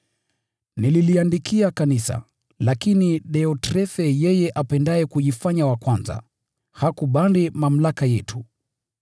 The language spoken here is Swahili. Nililiandikia kanisa, lakini Deotrefe, yeye apendaye kujifanya wa kwanza, hakubali mamlaka yetu.